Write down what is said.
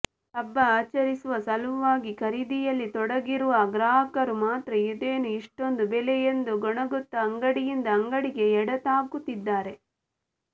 ಹಬ್ಬ ಆಚರಿಸುವ ಸಲುವಾಗಿ ಖರೀದಿಯಲ್ಲಿ ತೊಡಗಿರುವ ಗ್ರಾಹಕರು ಮಾತ್ರ ಇದೇನು ಇಷ್ಟೊಂದು ಬೆಲೆ ಎಂದು ಗೊಣಗುತ್ತಾ ಅಂಗಡಿಯಿಂದ ಅಂಗಡಿಗೆ ಎಡತಾಕುತ್ತಿದ್ದಾರೆ